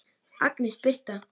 Agnes Birtna.